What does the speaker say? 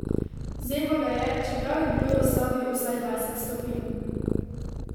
Zeblo ga je, čeprav je bilo v sobi vsaj dvajset stopinj.